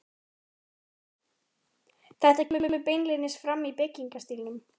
Þetta kemur beinlínis fram í byggingarstílnum.